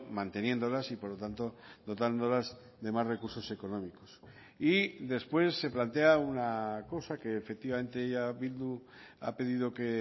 manteniéndolas y por lo tanto dotándolas de más recursos económicos y después se plantea una cosa que efectivamente ya bildu ha pedido que